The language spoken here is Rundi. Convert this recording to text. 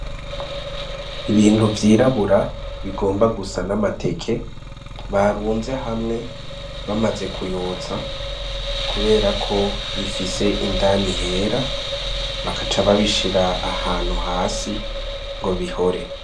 Ibintu vyirabura bigomba gusa namateke barunze hamwe bamaze kuyotsa kuberako bifise indani hera bagaca babishira ahantu hasi ngo bihore.